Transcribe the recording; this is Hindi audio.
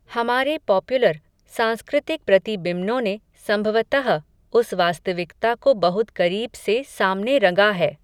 हमारे पॉपुलर, सांस्कृतिक प्रतिबिम्नों ने, संभवतः, उस वास्तविकता को बहुत करीब से सामने रंगा है